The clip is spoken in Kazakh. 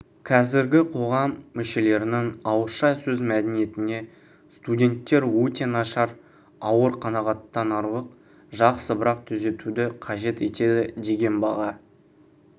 қазіргі қоғам мүшелерінің ауызша сөз мәдениетіне студенттер өте нашар ауыр қанағаттанарлық жақсы бірақ түзетуді қажет етеді деген баға